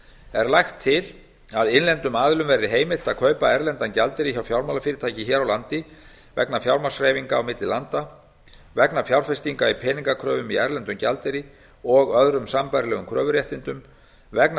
er lagt til að innlendum aðilum verði heimilt að kaupa erlendan gjaldeyri hjá fjármálafyrirtæki hér á landi vegna fjármagnshreyfinga á milli landa vegna fjárfestinga í peningakröfum í erlendum gjaldeyri og öðrum sambærilegum kröfuréttindum vegna